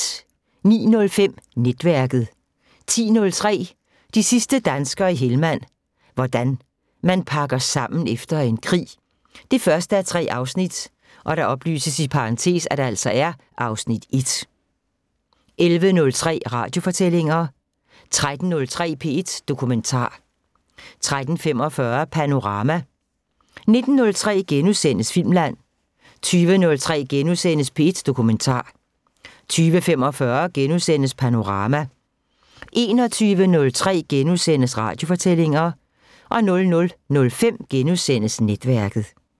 09:05: Netværket 10:03: De sidste danskere i Helmand – hvordan man pakker sammen efter en krig 1:3 (Afs. 1) 11:03: Radiofortællinger 13:03: P1 Dokumentar 13:45: Panorama 19:03: Filmland * 20:03: P1 Dokumentar * 20:45: Panorama * 21:03: Radiofortællinger * 00:05: Netværket *